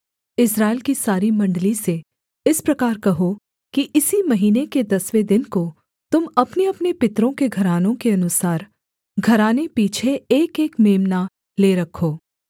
इस्राएल की सारी मण्डली से इस प्रकार कहो कि इसी महीने के दसवें दिन को तुम अपनेअपने पितरों के घरानों के अनुसार घराने पीछे एकएक मेम्ना ले रखो